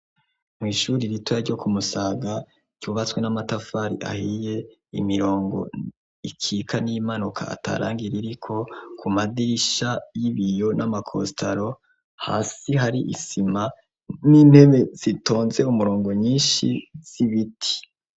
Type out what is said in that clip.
Mw'ishuri ritoya ryo kumusaga ryubatswe n'amatafari ahiye imirongo ikika n'imanuka atarangira iriko ku madisha y'ibiyo n'amakostaro hasi hari isima n'intebe sitonze umurongo nyinshi sibiti.